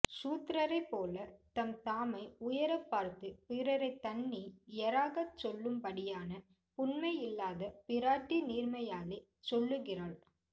ஷூத்ரரைப் போலே தம்தாமை உயரப் பார்த்து பிறரை தண்ணியராகசொல்லும்படியான புன்மை இல்லாத பிராட்டி நீர்மையாலே சொல்ல்லுகிறாள்